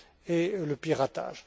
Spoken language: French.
et le piratage.